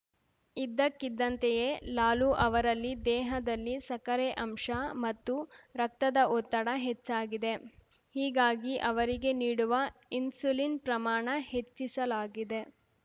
ಇದ್ದಕ್ಕಿದ್ದಂತೆಯೇ ಲಾಲು ಅವರಲ್ಲಿ ದೇಹದಲ್ಲಿ ಸಕ್ಕರೆ ಅಂಶ ಮತ್ತು ರಕ್ತದ ಒತ್ತಡ ಹೆಚ್ಚಾಗಿದೆ ಹೀಗಾಗಿ ಅವರಿಗೆ ನೀಡುವ ಇನ್ಸುಲಿನ್‌ ಪ್ರಮಾಣ ಹೆಚ್ಚಿಸಲಾಗಿದೆ